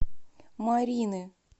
марины